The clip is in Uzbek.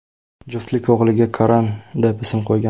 Juftlik o‘g‘liga Karan deb ism qo‘ygan.